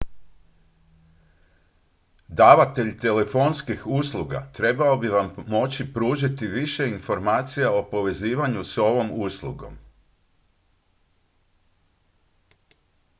davatelj telefonskih usluga trebao bi vam moći pružiti više informacija o povezivanju s ovom uslugom